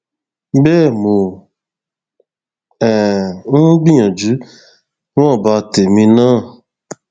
bẹẹ mò um ń gbìyànjú níwọnba tèmi náà